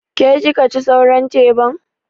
Ke kika ci sauran teban?